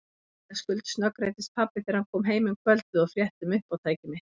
Vitaskuld snöggreiddist pabbi þegar hann kom heim um kvöldið og frétti um uppátæki mitt.